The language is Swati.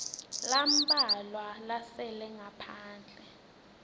lambalwa lasele ngaphandle